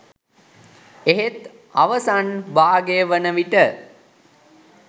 එහෙත් අවසන් භාගය වනවිට